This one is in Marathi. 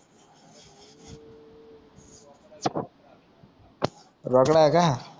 रोकडा का